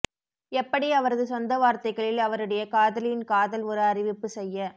எப்படி அவரது சொந்த வார்த்தைகளில் அவருடைய காதலியின் காதல் ஒரு அறிவிப்பு செய்ய